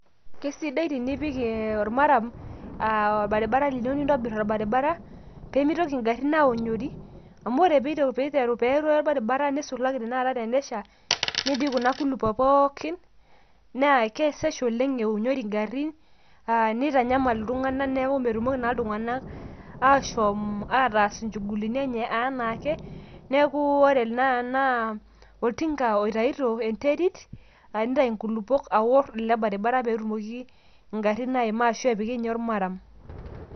Kisidai tinipik ormaram aa orbarabara teniyieu nintobir orbarabara pemitoki ngarin aonyori